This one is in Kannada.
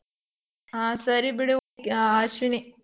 ಹಾ ಸರಿ ಬಿಡು ಆ ಅಶ್ವಿನಿ.